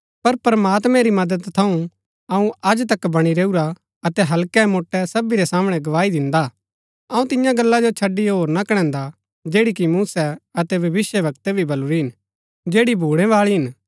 पर प्रमात्मैं री मदद थऊँ अऊँ अज तक बणी रैऊरा अतै हल्कै मोट्टै सभी रै सामणै गवाही दिन्दा हा अऊँ तियां गल्ला जो छड़ी होर ना कणैन्दा जैड़ी कि मूसै अतै भविष्‍यवक्तै भी बलुरी हिन जैड़ी भूणैबाळी हिन